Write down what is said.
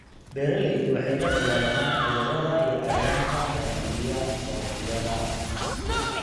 Beeraleydu waxay la dagaallamaan cudurrada iyo cayayaanka baabi'iya dalagyada.